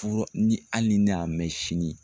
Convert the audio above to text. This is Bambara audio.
ni hali ne y'a mɛn sini